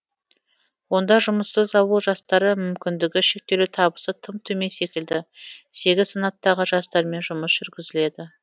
онда жұмыссыз ауыл жастары мүмкіндігі шектеулі табысы тым төмен секілді сегіз санаттағы жастармен жұмыс жүргізіледі